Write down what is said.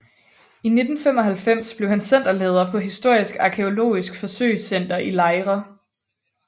I 1995 blev han centerleder på Historisk Arkæologisk Forsøgscenter i Lejre